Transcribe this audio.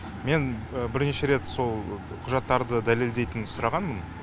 мен бірнеше рет сол құжаттарды дәлелдейтін сұрағанмын